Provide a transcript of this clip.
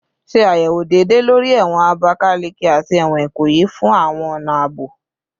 Ṣe ayẹwo deede lori ẹwọn Abakaleke ati ẹwọn Ikoyi fun awọn ọna aabo